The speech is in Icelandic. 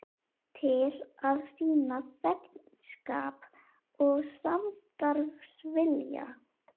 Til að sýna þegnskap og samstarfsvilja.